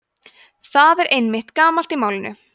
það er einnig gamalt í málinu